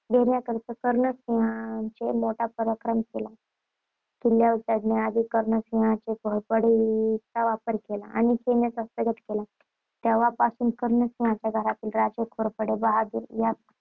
घेण्याकरिता कर्णसिंहाने मोठा पराक्रम केला. किल्ल्यावर चढण्यासाठी कर्णसिंहाने घोरपडीचा वापर केला आणि खेळणा हस्तगत केला. तेव्हापासून कर्णसिंहाच्या घराण्याला ‘राजे घोरपडे बहाद्दर’ हा